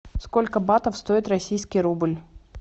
сколько батов стоит российский рубль